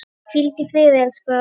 Hvíld í friði, elsku afi.